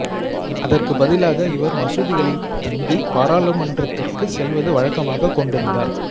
அதற்கு பதிலாக இவர் மசூதிகளில் தங்கி பாராளுமன்றத்திற்கு செல்வது வழக்கமாகக் கொண்டிருந்தார்